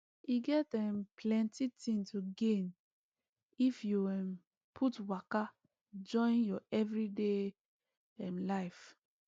e get ehm plenty thing to gain if you um put waka join your everyday um life